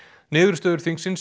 niðurstöður þingsins